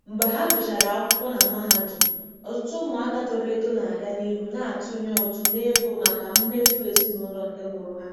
Mgbe ha gụsịrị akwụkwọ na mahadum, ọtụtụ ụmụaka toro eto na-aga n'ihu na-atụnye ụtụ n'ego maka mmefu ezinụlọ nke ndị mụrụ ha.